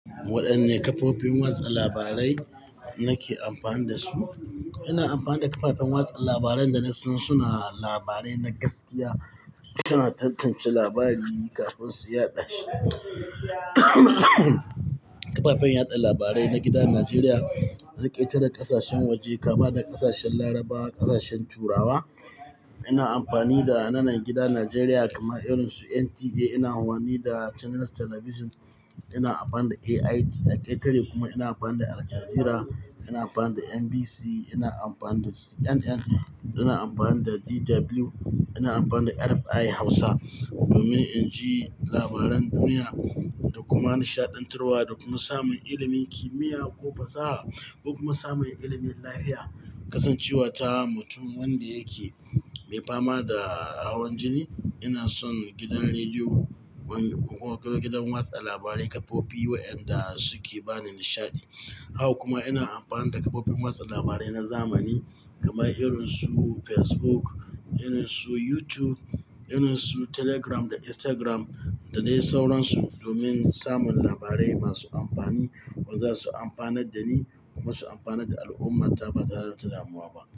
Waɗanne kafofin watsa labarai nake amfani da su? Ina amfani da kafafen watsa labaran da na san suna labarai na gaskiya, suna tantance labari kafin su yaɗa shi. Kafafen yaɗa labarai na gidan Najeriya na ƙetare ƙasashen waje kama da ƙasashen Laraba, ƙasashen Turawa. Ina amfani da nanan gidan Najeriya kamar irin su NTA. Ina amfani da channels television. Ina amfani da AIT a ƙetare kuma ina amfani da Al Jazeera. Ina amfani da NBC, ina amfani da CNN, ina amfani da DW, ina amfani da RFI Hausa domin in ji labaran duniya da kuma nishaɗantarwa da kuma samun ilimin kimiyya ko fasaha ko kuma samun ilimin lafiya. Kasancewa ta mutum wanda yake mai fama da auren jini, ina son gidan rediyo wanda-- ko gidan watsa labarai kafofi wayanda suke bani nishaɗi. Haka kuma ina amfani da kafofin watsa labarai na zamani kamar irin su Facebook, irin su YouTube, irin su Telegram da Instagram da dai sauransu domin samun labarai masu amfani wanda za su amfanar da ni kuma su amfanar da al'ummata ba tare da damuwa ba.